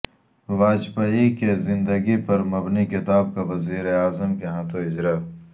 واجپئی کی زندگی پر مبنی کتاب کا وزیراعظم کے ہاتھوں اجرا